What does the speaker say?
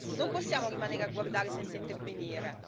Non possiamo rimanere a guardare senza intervenire.